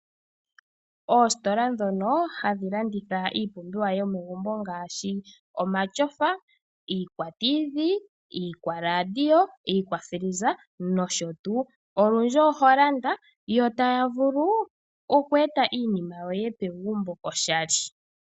Oositola ndhono hadhi landitha iipumbiwa yomegumbo ngaashi omatyofa, iikwatithi, iikwaradio, iikwafiliza nosho tuu olundji oho landa yo taya vulu oku eta iinima yoye pegumbo oshali.